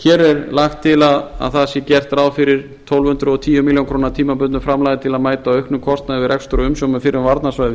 hér er lagt til að að það sé gert ráð fyrir tólf hundruð og tíu milljónir króna tímabundnu framlagi til að mæta auknum kostnaði við rekstur og umsjón með fyrrum